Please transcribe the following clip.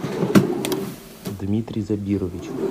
дмитрий забирович